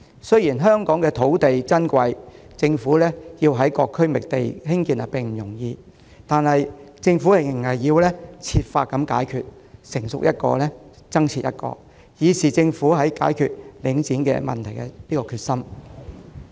雖然香港土地珍貴，要在各區覓地興建這些設施並不容易，但政府仍要設法解決問題，任何興建方案一旦成熟就付諸落實，以示政府解決領展問題的決心。